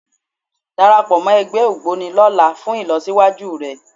Darapọ̀ mọ́ ẹgbẹ́ Ògboni lọ́la fún ìlọsíwájú rẹ